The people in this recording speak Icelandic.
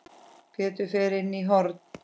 Pétur fer inn í horn.